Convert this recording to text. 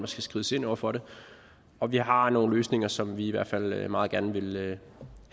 skal skrides ind over for det og vi har nogle løsninger som vi i hvert fald meget gerne vil have